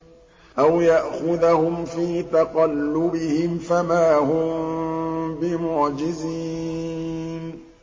أَوْ يَأْخُذَهُمْ فِي تَقَلُّبِهِمْ فَمَا هُم بِمُعْجِزِينَ